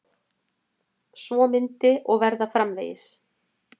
Svo myndi og verða framvegis.